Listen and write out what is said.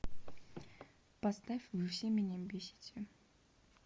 поставь вы все меня бесите